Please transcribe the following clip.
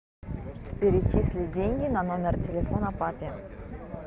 перечисли деньги на номер телефона папе